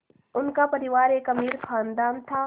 उनका परिवार एक अमीर ख़ानदान था